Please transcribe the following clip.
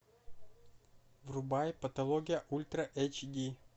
врубай патология ультра эйч ди